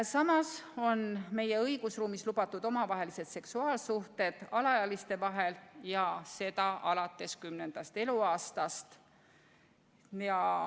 Samas on meie õigusruumis lubatud omavahelised seksuaalsuhted alaealiste vahel, ja seda alates kümnendast eluaastast.